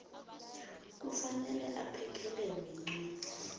kufanele aphekelelwe yincwadi